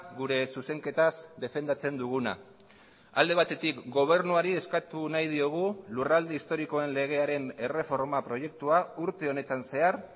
gure zuzenketaz defendatzen duguna alde batetik gobernuari eskatu nahi diogu lurralde historikoen legearen erreforma proiektua urte honetan zehar